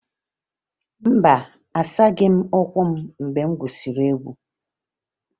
Mba, asaghị m ụkwụ m mgbe m gwusiri egwu